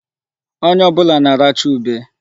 Onye ọbụla na-aracha ube.